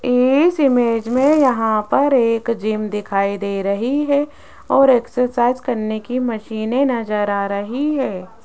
इस इमेज में यहां पर एक जिम दिखाई दे रही है और एक्सरसाइज करने की मशीनें नजर आ रही है।